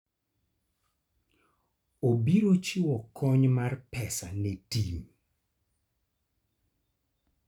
Obiro chiwo kony mar pesa ne tim.